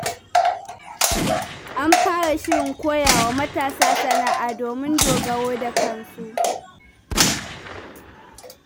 An fara shirin koya wa mata sana'a domin dogaro da kansu.